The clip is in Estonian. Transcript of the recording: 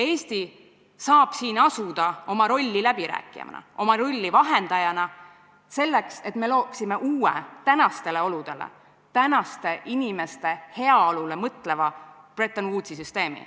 Eesti saab siin asuda täitma oma rolli läbirääkijana, oma rolli vahendajana, et looksime uue, tänastele oludele, tänaste inimeste heaolule mõtleva Bretton Woodsi süsteemi.